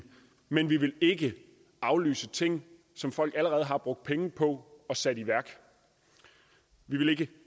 men vi vil ikke aflyse ting som folk allerede har brugt penge på at sætte i værk vi vil ikke